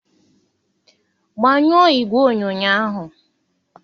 gbanyụọ igwe onyonyo ahụ